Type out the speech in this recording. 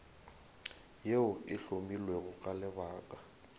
yeo e hlomilwego ka lebaka